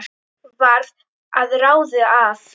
Varð að ráði að